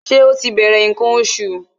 Ṣé ó ti bẹ̀rẹ̀ ǹkan oṣù?